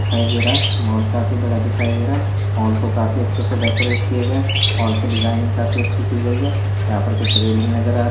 --दिखाई दे रहा मॉल काफ़ी बड़ा दिखाई रहा हैं मॉल को काफी अच्छे से डेकोरेट किया गया हैं मॉल की डिजाइनिग काफ़ी अच्छी की गई है यहाँ पर कुछ रैलिंग नजर आ रही--